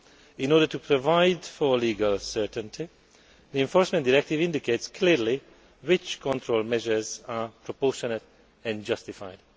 In order to provide for legal certainty, the Enforcement Directive indicates clearly which control measures are proportionate and justified.